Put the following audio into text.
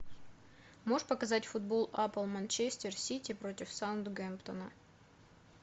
можешь показать футбол апл манчестер сити против саутгемптона